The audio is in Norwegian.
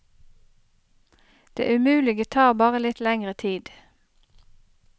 Det umulige tar bare litt lengre tid.